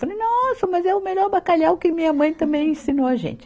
Falei, nossa, mas é o melhor bacalhau que minha mãe também ensinou a gente.